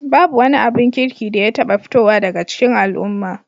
Babu wani abin kirki da ya taɓa fitowa daga cikin al'umma